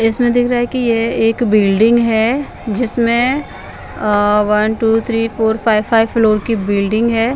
इसमें दिख रहा है कि येह एक बिल्डिंग है जिसमें uh one two three four five five floor की बिल्डिंग है।